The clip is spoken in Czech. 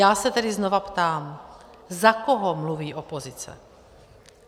Já se tedy znovu ptám - za koho mluví opozice?